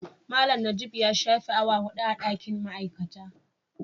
Malam najib ya shafe awa 4 a dakin ma'aikata.